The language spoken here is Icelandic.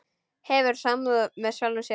Hefur samúð með sjálfum sér.